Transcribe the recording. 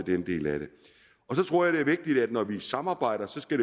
den del af det så tror jeg det er vigtigt at når vi samarbejder skal